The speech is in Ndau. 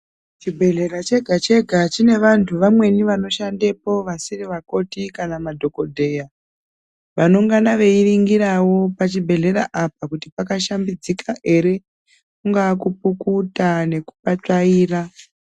chibhedhlera chega-chega chine vantu vamweni vanoshandepo vasiri vakoti kana madhogodheya. Vanongana veiringiravo pachibhedhlera apa kuti pakashambidzika ere kungaakupukuta nekupatsvaira.